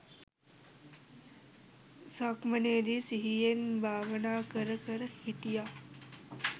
සක්මනේදි සිහියෙන් භාවනා කර කර හිටියා.